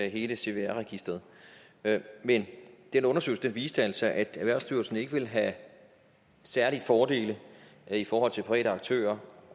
hele cvr registeret men den undersøgelse viste altså at erhvervsstyrelsen ikke ville have særlige fordele i forhold til private aktører